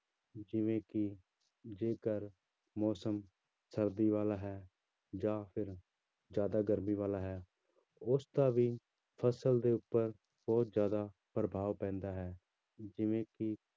ਜਿਵੇਂ ਕਿ ਜੇਕਰ ਮੌਸਮ ਸਰਦੀ ਵਾਲਾ ਹੈ ਜਾਂ ਫਿਰ ਜ਼ਿਆਦਾ ਗਰਮੀ ਵਾਲਾ ਹੈ ਉਸਦਾ ਵੀ ਫ਼ਸਲ ਦੇ ਉੱਪਰ ਬਹੁਤ ਜ਼ਿਆਦਾ ਪ੍ਰਭਾਵ ਪੈਂਦਾ ਹੈ ਜਿਵੇਂ ਕਿ